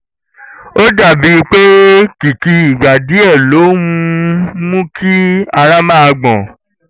ó dà bíi pé kìkì ìgbà díẹ̀ ló um ń mú kí ara máa gbọ̀n